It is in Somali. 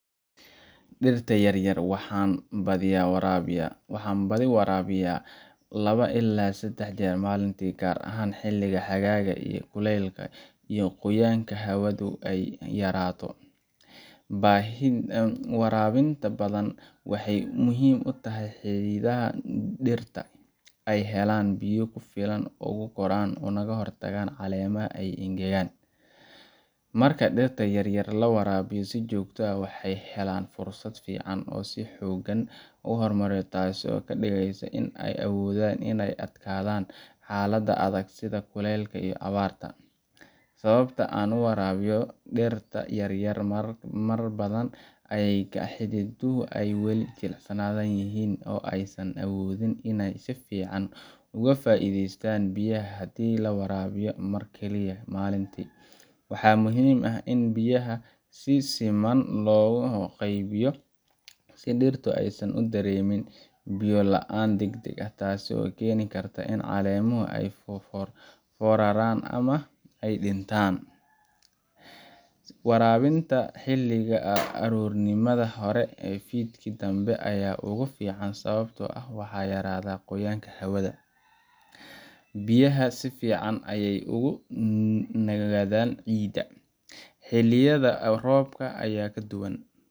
Dhirta yaryar waxaan badiyaa waraabiyaa laba ilaa saddex jeer maalintii, gaar ahaan xilliga xagaaga oo kulaylka iyo qoyaanka hawadu ay aad u yaraato. Waraabinta badan waxay muhiim u tahay in xididdada dhirta ay helaan biyo ku filan si ay u koraan ugana hortagaan in caleemaha ay engegaan. Marka dhirta yaryar la waraabiyo si joogto ah, waxay helaan fursad fiican oo ay si xooggan u horumariyaan, taasoo ka dhigaysa in ay awoodaan inay ka adkaadaan xaaladaha adag sida kulaylka iyo abaarta. Sababta aan u waraabiyo dhirta yaryar marar badan ayaa ah in xididdadu ay wali jilicsan yihiin oo aysan awoodin inay si fiican uga faa’iidaystaan biyaha haddii la waraabiyo mar keliya maalintii. Waxaa muhiim ah in biyaha si siman loogu qaybiyo si dhirta aysan u dareemin biyo la’aan degdeg ah, taasoo keeni karta in caleemuhu ay fooraraan ama ay dhintaan. Waraabinta xilliga aroornimada hore ama fiidkii dambe ayaa ugu fiican sababtoo ah waxaa yaraada qoyaanka hawada, biyahana si fiican ayay ugu sii nagaanayaan ciidda. Xilliyada roobka ayaa ka duwan,